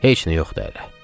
Heç nə yoxdu hələ.